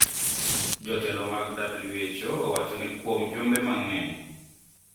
Jotelo mago mag WHO owacho ni kuom jumbe mang`eny